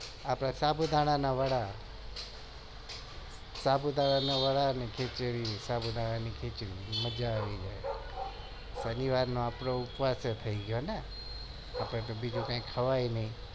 હા સાબુ દાણા ના વડા ને ખીચડી સાબુ દાણા ની ખીચડી મજા આવી જાય ને આપડે ઉપવાસ પણ થઇ થાય